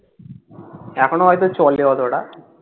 এখনো হয়ত চলে অতটা